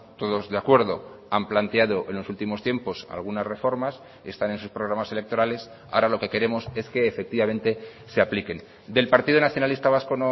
todos de acuerdo han planteado en los últimos tiempos algunas reformas están en sus programas electorales ahora lo que queremos es que efectivamente se apliquen del partido nacionalista vasco